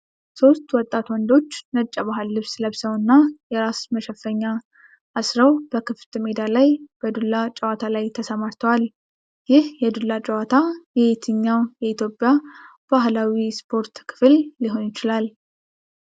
ሶስት ወጣት ወንዶች ነጭ የባህል ልብስ ለብሰውና ነጭ የራስ መሸፈኛ አስረው በክፍት ሜዳ ላይ በዱላ ጨዋታ ላይ ተሰማርተዋል። ይህ የዱላ ጨዋታ የየትኛው የኢትዮጵያ ባህላዊ ስፖርት ክፍል ሊሆን ይችላል?